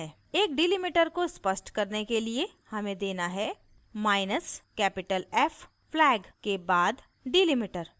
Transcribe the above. एक delimiter को स्पष्ट करने के लिए हमें देना है माइनसcapital f flag के बाद delimiter